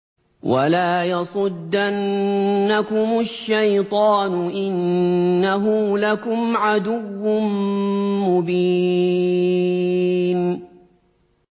وَلَا يَصُدَّنَّكُمُ الشَّيْطَانُ ۖ إِنَّهُ لَكُمْ عَدُوٌّ مُّبِينٌ